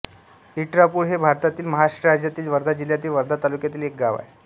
इटळापूर हे भारतातील महाराष्ट्र राज्यातील वर्धा जिल्ह्यातील वर्धा तालुक्यातील एक गाव आहे